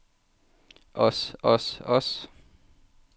os os os